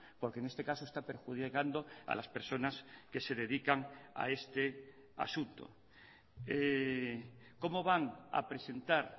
porque en este caso está perjudicando a las personas que se dedican a este asunto cómo van a presentar